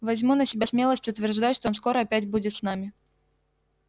возьму на себя смелость утверждать что он скоро опять будет с нами